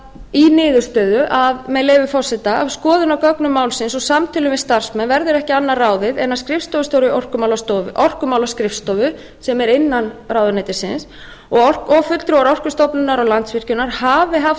í niðurstöðu með leyfi forseta af skoðun á gögnum málsins og samtölum við starfsmenn verður ekki annað ráðið en að skrifstofustjóri orkumálaskrifstofu sem er innan ráðuneytisins og fulltrúar orkustofnunar og landsvirkjunar hafi haft